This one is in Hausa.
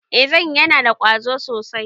I zanyi, yana da ƙwazo sosai